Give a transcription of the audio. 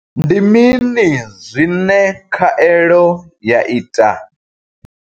Ndi mini zwine khaelo ya ita?